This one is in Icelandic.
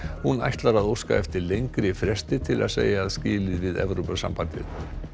hún ætlar að óska eftir lengri fresti til að segja skilið við Evrópusambandið